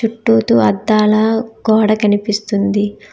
చుట్టూ తూ అద్దాల గోడ కనిపిస్తుంది.